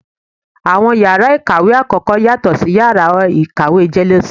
Awọn ìyára ikáwe akọkọ, yatọ si ìyára ikáwe jelésímí.